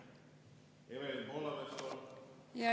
Evelin Poolamets, palun!